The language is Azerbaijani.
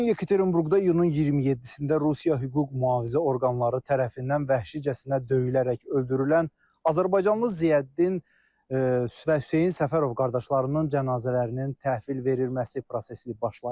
Bu gün Yekaterinburqda iyunun 27-də Rusiya hüquq mühafizə orqanları tərəfindən vəhşicəsinə döyülərək öldürülən azərbaycanlı Ziyəddin və Hüseyn Səfərov qardaşlarının cənazələrinin təhvil verilməsi prosesi başlayıb.